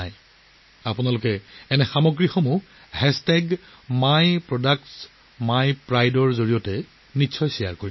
আপোনালোকে MyProductSmyPrideৰ সৈতে এনে সামগ্ৰী শ্বেয়াৰ কৰিব লাগিব